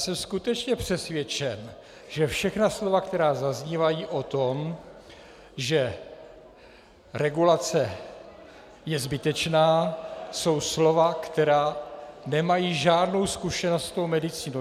Jsem skutečně přesvědčen, že všechna slova, která zaznívají o tom, že regulace je zbytečná, jsou slova, která nemají žádnou zkušenost s medicínou.